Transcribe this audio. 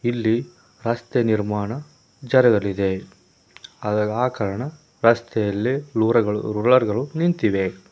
ಇಲ್ಲಿ ರಸ್ತೆ ನಿರ್ಮಾಣ ಜರಗಲಿದೆ ಅದ ಆ ಕಾರಣ ರಸ್ತೆ ಅಲ್ಲೆ ರೊಳಗಳು ರೋಲರ್ ಗಳು ನಿಂತಿವೆ.